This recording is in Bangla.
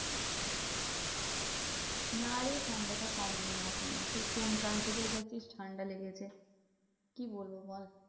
না রে ঠান্ডাটা কমেনি এখনো। সেই কোন কাল থেকে ঠান্ডা লেগেছে, কি বলবো বল?